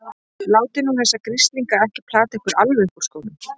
Látið nú þessa grislinga ekki plata ykkur alveg upp úr skónum!